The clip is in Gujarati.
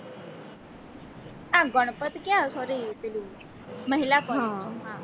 હા ગણપત ક્યાં sorry પેલી મહિલા collage